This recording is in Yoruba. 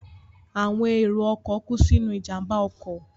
Àwọn èrò ọkọ̀ kú sínú ìjàmbá ọkọ̀